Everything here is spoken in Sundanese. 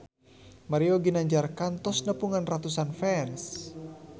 Mario Ginanjar kantos nepungan ratusan fans